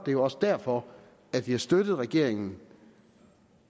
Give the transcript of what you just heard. er også derfor vi har støttet regeringen